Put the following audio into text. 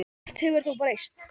Margt hefur þó breyst.